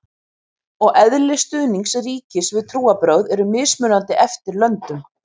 umfang og eðli stuðnings ríkis við trúarbrögð eru mismunandi eftir löndum